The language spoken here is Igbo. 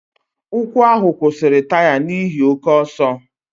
Ụkwụ ahụ kwụsịrị taya n'ihi oke ọsọ.